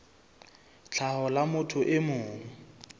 tlhaho la motho e mong